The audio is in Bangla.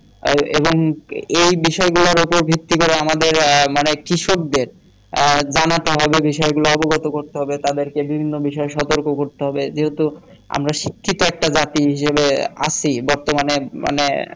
আর এবং এই বিষয় গুলার উপর ভিত্তি করে আমাদের মানে কৃষকদের আ জানাতে হবে বিষয় গুলা অবগত করতে হবে তাদেরকে বিভিন্ন বিষয়ে সতর্ক করতে হবে যেহেতু আমরা শিক্ষিত একটা জাতি হিসেবে আছি বর্তমানে মানে